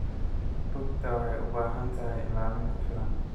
Rugta waxay u baahan tahay ilaalin ku filan.